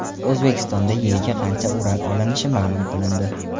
O‘zbekistonda yiliga qancha uran olinishi ma’lum qilindi.